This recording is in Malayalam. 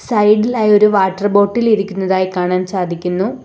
സൈഡി ൽ ആയി ഒരു വാട്ടർ ബോട്ടിൽ ഇരിക്കുന്നതായി കാണാൻ സാധിക്കുന്നു.